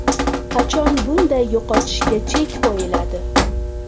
Qachon bunday yo‘qotishga chek qo‘yiladi.